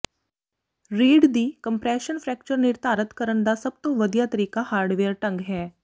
ਰੀੜ੍ਹ ਦੀ compression fracture ਨਿਰਧਾਰਤ ਕਰਨ ਦਾ ਸਭ ਤੋਂ ਵਧੀਆ ਤਰੀਕਾ ਹਾਰਡਵੇਅਰ ਢੰਗ ਹੈ